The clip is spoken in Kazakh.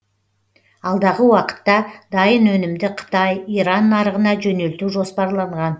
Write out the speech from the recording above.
алдағы уақытта дайын өнімді қытай иран нарығына жөнелту жоспарланған